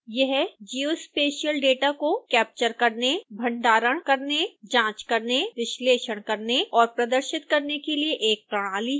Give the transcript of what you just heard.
यह geospatial data को capture करने भंडारण करने जाँच करने विश्लेषण करने और प्रदर्शित करने के लिए एक प्रणाली है